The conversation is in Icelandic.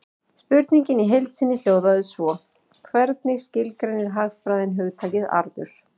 Spurningin í heild sinni hljóðaði svo: Hvernig skilgreinir hagfræðin hugtakið arður?